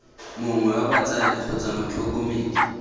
mongwe wa batsadi kgotsa motlhokomedi